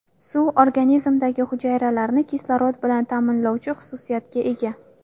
Suv organizmdagi hujayralarni kislorod bilan ta’minlovchi xususiyatga ega.